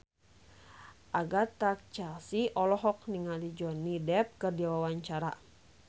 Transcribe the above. Agatha Chelsea olohok ningali Johnny Depp keur diwawancara